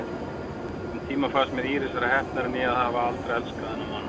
Um tíma fannst mér Íris vera heppnari en ég að hafa aldrei elskað þennan mann.